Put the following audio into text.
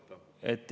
Aitäh!